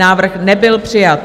Návrh nebyl přijat.